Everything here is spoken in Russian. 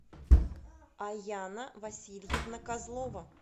аяна васильевна козлова